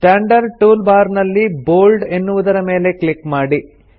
standard tool bar ನಲ್ಲಿ bold ಎನ್ನುವುದರ ಮೇಲೆ ಕ್ಲಿಕ್ ಮಾಡಿ